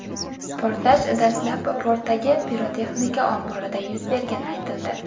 Portlash dastlab, portdagi pirotexnika omborida yuz bergani aytildi.